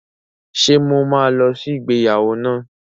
Ṣe mo ma lọ sí ìgbéyàwó náà?